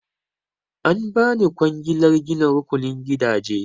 An ba ni kwangilar gina rukunin gidaje.